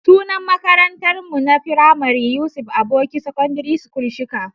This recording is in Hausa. Sunan makarantar mu na firamare Yusuf Aboki Secondary School Shika.